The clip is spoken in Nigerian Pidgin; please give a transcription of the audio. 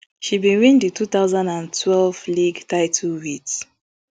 she bin win di two thousand and twelve league title wit